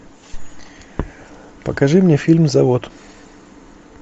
покажи мне фильм завод